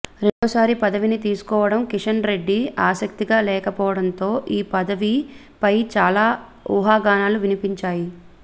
రెండవ సారి పదవిని తీసుకోవడం కిషన్ రెడ్డి ఆసక్తిగా లేకపోవడంతో ఈ పదవి ఫై చాలా ఉహాగానాలు వినిపించాయి